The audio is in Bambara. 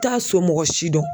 T'a somɔgɔ si dɔn